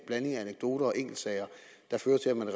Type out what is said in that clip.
blanding af anekdoter og enkeltsager der fører til at man